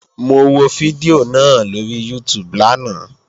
Mo wo fídíò náà lóri YouTube lánàá